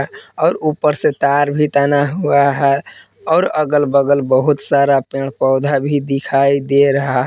और ऊपर से तार भी तना हुआ है और अगल बगल बहुत सारा पेड़ पौधा भी दिखाई दे रहा--